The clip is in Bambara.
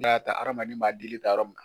N'a y'a ta adamaden m'a dili ta yɔrɔ mun na